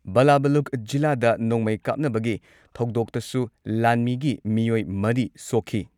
ꯕꯥꯂꯥꯕꯨꯂꯨꯛ ꯖꯤꯂꯥꯗ ꯅꯣꯡꯃꯩ ꯀꯥꯞꯅꯕꯒꯤ ꯊꯧꯗꯣꯛꯇꯁꯨ ꯂꯥꯟꯃꯤꯒꯤ ꯃꯤꯑꯣꯏ ꯃꯔꯤ ꯁꯣꯛꯈꯤ ꯫